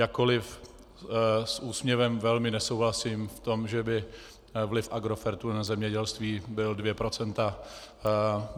Jakkoliv s úsměvem velmi nesouhlasím v tom, že by vliv Agrofertu na zemědělství byl dvě procenta.